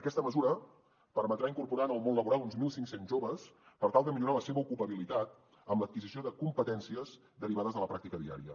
aquesta mesura permetrà incorporar en el món laboral uns mil cinc cents joves per tal de millorar la seva ocupabilitat amb l’adquisició de competències derivades de la pràctica diària